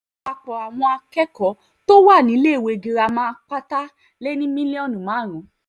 àpapọ̀ àwọn àpapọ̀ àwọn akẹ́kọ̀ọ́ tó wà níléèwé girama pátá lé ní mílíọ̀nù márùn